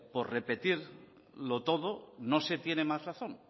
por repetirlo todo no se tiene más razón